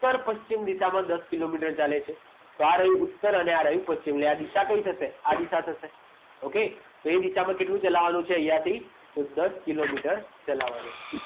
ઉત્તર પશ્ચિમ દિશામાં દસ કિલોમીટર ચાલે છે તો આ રહ્યું ઉત્તર પશ્ચિમ આ દિશા કઈ થશે આ દિશા સાથે okay તો આજ દિશામાં કઈ દિશામાં છે અહીંયા થી તો દસ કિલોમીટર ચલાવવાનું છે